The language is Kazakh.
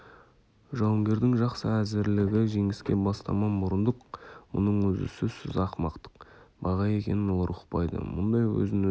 жауынгердің жақсы әзірлігі жеңіске бастама мұрындық мұның өзі сөзсіз ақымақтық баға екенін олар ұқпайды мұндай өзін-өзі